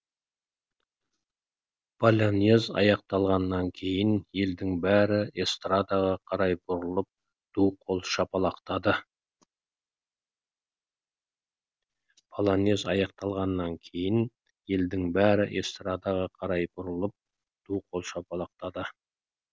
полонез аяқталғаннан кейін елдің бәрі эстрадаға қарай бұрылып ду қол шапалақтады